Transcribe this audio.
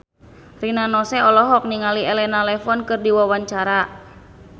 Rina Nose olohok ningali Elena Levon keur diwawancara